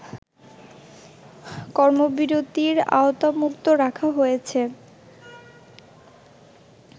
কর্মবিরতির আওতামুক্ত রাখা হয়েছে